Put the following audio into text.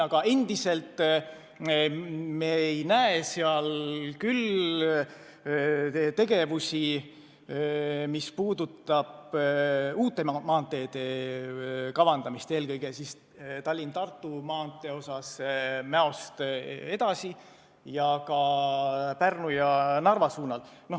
Aga endiselt ei näe me selles tegevusi, mis puudutaks uute maanteede kavandamist, eelkõige Tallinna–Tartu maantee puhul Mäost edasi oleval lõigul ja ka Pärnu ja Narva suunal.